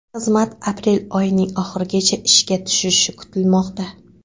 Xizmat aprel oyining oxirigacha ishga tushishi kutilmoqda.